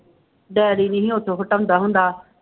Daddy ਨੀ ਸੀ ਉਦੋਂ ਹਟਾਉਂਦਾ ਹੁੰਦਾ।